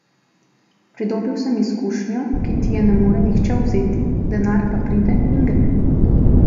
Pridobil sem izkušnjo, ki ti je ne more nihče vzeti, denar pa pride in gre.